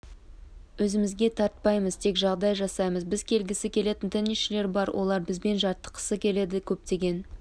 өзімізге тартпаймыз тек жағдай жасаймыз бізге келгісі келетін теннисшілер бар олар бізбен жаттыққысы келеді көптеген